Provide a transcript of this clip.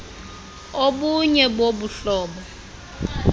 obunye bobu buhlobo